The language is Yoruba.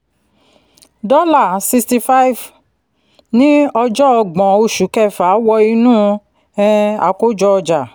dọ́là sixty ní ọjọ́ ọgbọ̀n oṣù kẹfà wọ inú um àkójọ-ọjà